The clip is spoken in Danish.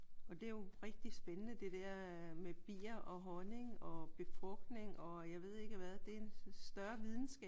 Og det er jo rigtigt spændende det der med bier og honning og befrugtning og jeg ved ikke hvad. Det er en større videnskab